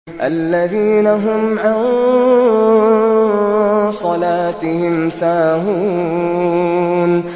الَّذِينَ هُمْ عَن صَلَاتِهِمْ سَاهُونَ